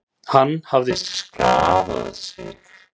Hann hafði skaðað sig.